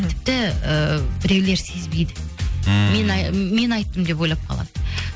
тіпті і біреулер сезбейді ммм мен айттым деп ойлап қалады